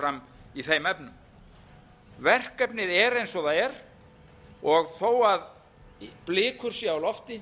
fram í þeim efnum verkefnið er eins og það er og þó blikur séu á lofti